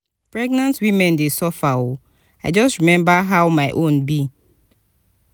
pregnant women dey suffer o i just rememba just rememba how my own be.